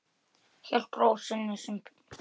Hélt ró sinni sem fyrr.